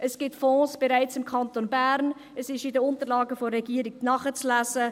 es gibt im Kanton Bern bereits Fonds, dies ist in den Unterlagen der Regierung nachzulesen.